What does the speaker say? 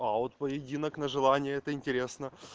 а вот поединок на желание это интересно